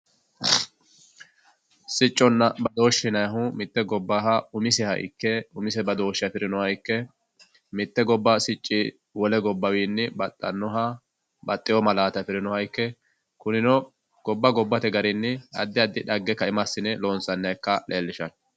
sicconna badooshe yinayiihu mitte gobbaha umiseha ikke umise badooshe afirinoha ikke mitte gobba sicci wole gobba wiini badhanoha baxeeo malaate safirinoha ikke kunino gobba gobbate garinni addi addi xagge ka"ima assine lonsaniha ikka leelishanno.